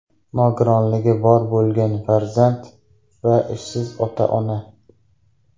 Nogironligi bor bo‘lgan farzand va ishsiz ota-ona?